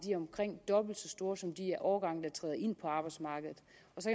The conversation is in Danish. omkring dobbelt så store som de årgange der træder ind på arbejdsmarkedet